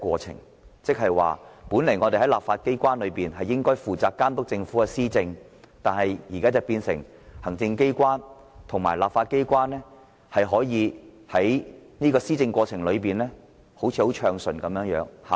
亦即是說，立法機關本應負責監督政府施政，但日後卻變成行政機關與立法機關合作，使施政看似暢順，即所謂的"有效率"。